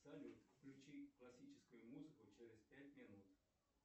салют включи классическую музыку через пять минут